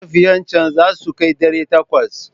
Matafiyan can za su kai ɗari takwas?